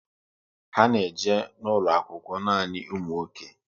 Ha na eje n'ulo akwụkwọ nanị ụmụ nwoke